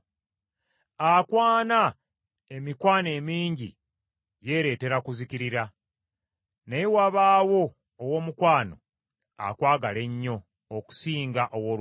Akwana emikwano emingi yeereetera okuzikirira, naye wabaawo ow’omukwano akwagala ennyo okusinga owooluganda.